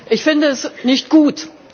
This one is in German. Ich finde es nicht gut.